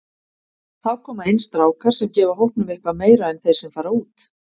Þá koma inn strákar sem gefa hópnum eitthvað meira en þeir sem fara út.